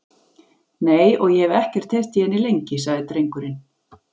Nei, og ég hef ekki heyrt í henni lengi, sagði drengurinn.